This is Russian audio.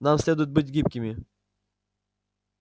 нам следует быть гибкими